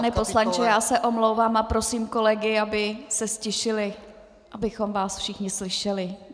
Pane poslanče, já se omlouvám a prosím kolegy, aby se ztišili, abychom vás všichni slyšeli.